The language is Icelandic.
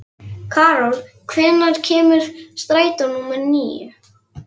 Karol, hvenær kemur strætó númer níu?